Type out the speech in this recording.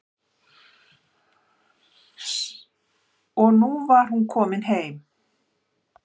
Og nú var hún komin heim.